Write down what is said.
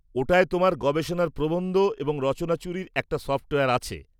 ওটায় তোমার গবেষণার প্রবন্ধ এবং রচনাচুরির একটা সফ্টওয়্যার আছে।